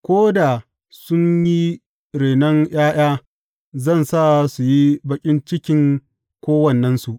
Ko da sun yi renon ’ya’ya, zan sa su yi baƙin cikin kowannensu.